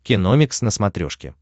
киномикс на смотрешке